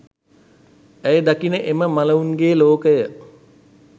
ඇය දකින එම මළවුන්ගේ ලෝකය